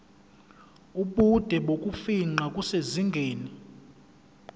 ubude bokufingqa kusezingeni